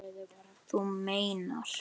Þú meinar.